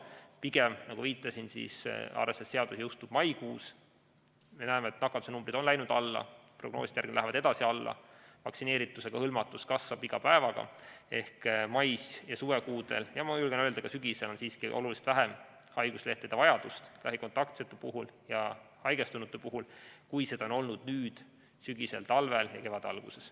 Pigem, nagu viitasin, arvestades seda, et seadus jõustub maikuus ja me näeme, et nakatumise numbrid on läinud alla, prognooside järgi lähevad edasi alla ning vaktsineeritusega hõlmatus kasvab iga päevaga, siis mais ja suvekuudel ja ma julgen öelda, et ka sügisel on siiski oluliselt väiksem haiguslehtede vajadus lähikontaktsete ja haigestunute puhul, kui see on olnud sügisel, talvel ja kevade alguses.